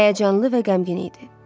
Həyəcanlı və qəmgin idi.